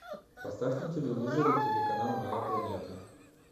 поставь на телевизоре телеканал моя планета